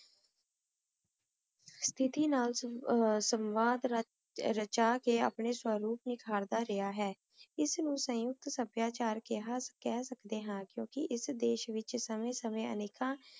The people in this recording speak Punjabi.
ਸ੍ਤੀਥੀ ਨਾਲ ਸੰਵਾਥ ਰਚਾ ਕੇ ਪਾਨੀ ਸਵਰੂਪ ਨਿਖਰ ਰਿਹਾ ਹੈ ਏਸ ਨੂ ਸਿੰਖ ਸਭ੍ਯਾਚਾਰ ਕੇਹਾ ਕਹ ਸਕਦੇ ਹਾਂ ਕ੍ਯੂ ਕੀ ਏਸ ਦੇਸ਼ ਵਿਚ ਸਮੇ ਸਮੇ ਅਨੇਖਾਂ